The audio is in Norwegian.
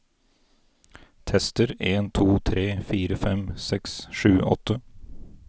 Tester en to tre fire fem seks sju åtte